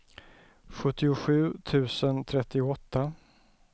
sjuttiosju tusen trettioåtta